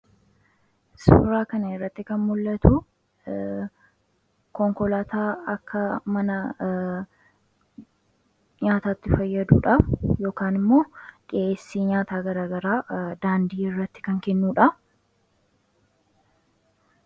Suuraa kanarratti kan mul'atu konkolaataa akka mana nyaataatti fayyadudha. Yookaan immoo dhiyeessi nyaata gara garaa daandii irratti kan kennudha.